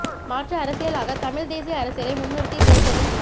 மாற்று அரசியலாக தமிழ்த் தேசிய அரசியலை முன்னிறுத்தி தேர்தலில்